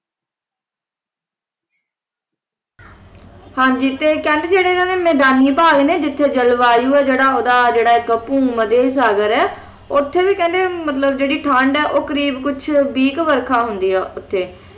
ਹਾਂ ਜੀ ਕਹਿੰਦੇ ਕਿ ਜਿਹੜੇ ਇਨ੍ਹਾਂ ਦੇ ਮੈਦਾਨੀ ਭਾਗ ਨੇ ਜਿੱਥੇ ਜਲਵਾਯੂ ਹੈ ਜਿਹੜਾ ਓਹਦਾ ਜਿਹੜਾ ਇੱਕ ਭੂ ਮਧਿ ਸਾਗਰ ਹੈ ਉੱਥੇ ਵੀ ਕਹਿੰਦੇ ਮਤਲਬ ਜਿਹੜੀ ਠੰਡ ਹੈ ਓਹ ਕਰੀਬ ਕੁਝ ਵਰਖਾ ਹੁੰਦੀ ਹੈ ਉੱਥੇ